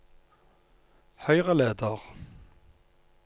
høyreleder